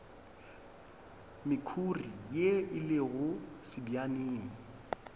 mekhuri ye e lego sebjaneng